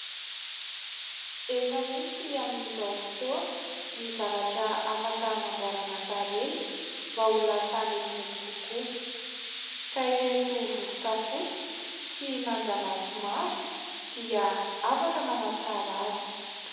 Efa misy amin'izao fotoana ny zavatra afaka hanamboarana tarehy mba ho lasa metimety kokoa ka ireto vovoka fotsy sy manjamaso maro dia afaka manantsara azy.